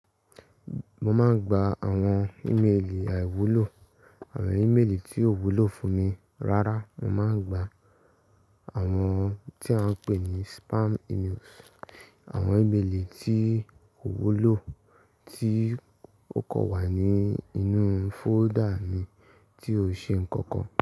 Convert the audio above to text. Mo máa ń gba àwọn ímeèlì àìwúlò, àwọn ímeèlì tí ò wúlò fún mi. Rárá, mo máa ń gba àwọn tí à ń pè ní spam emails, àwọn ímeèlì tí ko wúlò tí ó kò wà ní inú folder mi tí ó ṣe nǹkan kan.